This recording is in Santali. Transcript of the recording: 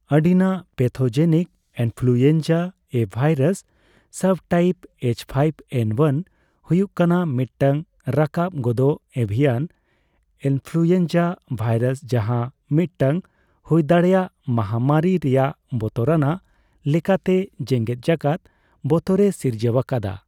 ᱟᱹᱰᱤᱱᱟᱜ pathogenic influenza A virus subtype H five N one ᱦᱩᱭᱩᱜ ᱠᱟᱱᱟᱭ ᱢᱤᱫᱴᱟᱝ ᱨᱟᱠᱟᱵ ᱜᱚᱫᱚᱜ ᱮᱵᱷᱤᱭᱟᱱ ᱤᱱᱯᱷᱩᱞᱩᱭᱮᱱᱡᱟ ᱵᱷᱟᱭᱨᱟᱥ ᱡᱟᱦᱟ ᱢᱤᱫᱴᱟᱝ ᱦᱩᱭᱫᱟᱲᱮᱜ ᱢᱟᱦᱟᱢᱟᱨᱤ ᱨᱮᱱᱟᱜ ᱵᱚᱛᱚᱨᱟᱱᱟᱜ ᱞᱮᱠᱟᱛᱮ ᱡᱮᱜᱮᱫ ᱡᱟᱠᱟᱫ ᱵᱚᱛᱚᱨᱮ ᱥᱤᱨᱡᱟᱹᱣ ᱟᱠᱟᱫᱟ ᱾